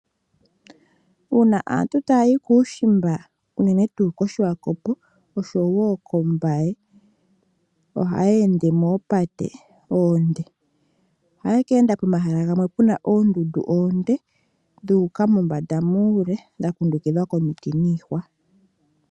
Uuna aantu taya yi kuushimba unene tuu koSwakopo nokoMbaye, ohaye ende moopate oonde ohaye ke enda pomahala gamwe puna oondundu oonde dhuuka mombanda muule dha kundukidhwa komiti niihwa.